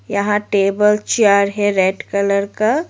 यहां table chair है red colour का।